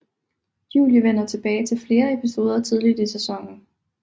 Julie vender tilbage til flere episoder tidligt i sæsonen